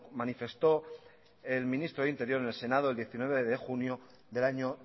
manifestó el ministro de interior en el senado el diecinueve de junio del año